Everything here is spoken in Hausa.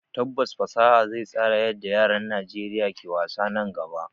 Tabbas fasaha zai tsara yadda yaran Najeriya ke wasa nan gaba